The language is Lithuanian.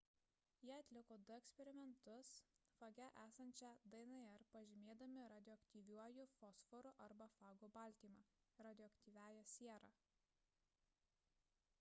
jie atliko du eksperimentus fage esančią dnr pažymėdami radioaktyviuoju fosforu arba fago baltymą – radioaktyviąja siera